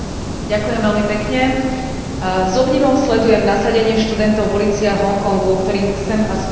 S obdivom sledujem nasadenie študentov v uliciach Hong Kongu, ktorým chcem aspoň takto na diaľku vyjadriť podporu.